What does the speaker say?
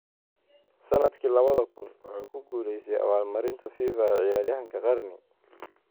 Sanadkii lawadha kun, wuxuu ku guuleystay abaalmarinta FIFA ee Ciyaaryahanka Qarni.